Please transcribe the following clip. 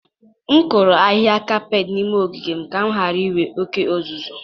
M kụrụ ahịhịa kapet n'ime ogige m ka m ghara inwe oke uzuzu.